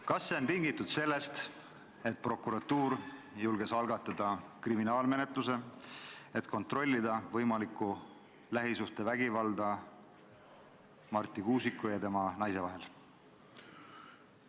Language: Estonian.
Kas see on tingitud sellest, et prokuratuur julges algatada kriminaalmenetluse, et kontrollida võimalikku lähisuhtevägivalda Marti Kuusiku ja tema naise vahel?